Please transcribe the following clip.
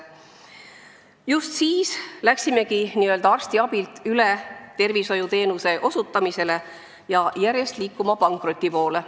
Just siis läksimegi arstiabilt üle tervishoiuteenuse osutamisele ja hakkasime liikuma pankroti poole.